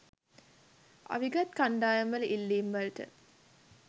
අවිගත් කණ්ඩායම් වල ඉල්ලීම් වලට